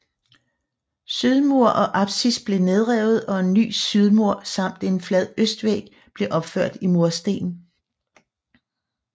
Sydmur og apsis blev nedrevet og en ny sydmur samt en flad østvæg blev opført i mursten